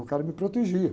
O cara me protegia.